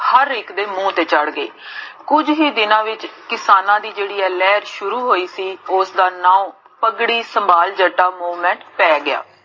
ਹਰ ਇਕ ਦੇ ਮੁਹ ਤੇ ਚੜ੍ਹ ਗਈ ਕਿਜ ਹੀ ਦਿਨਾ ਵਿਚ ਇਨਸਾਨਾਂ ਦੀ ਜੇਹੜੀ ਆਹ ਲੇਹਰ ਸ਼ੁਰੂ ਹੋਈ ਸੀ, ਓਸ ਦਾ ਨਾਂ, ਪਗੜੀ ਸੰਬਾਲ ਜੱਟਾ ਪੈ ਗਿਆ